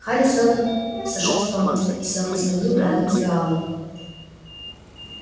хари сэлдон сошёл с помоста и сел на скамью рядом с гаалом